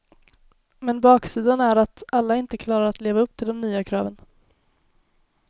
Men baksidan är att alla inte klarar att leva upp till de nya kraven.